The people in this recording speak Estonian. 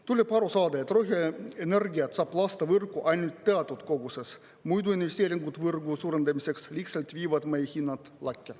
Tuleb aru saada, et roheenergiat saab lasta võrku ainult teatud koguses, muidu investeeringud võrgu suurendamiseks lihtsalt viivad meie hinnad lakke.